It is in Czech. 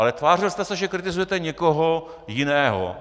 Ale tvářil jste se, že kritizujete někoho jiného.